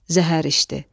Zəhər içdi.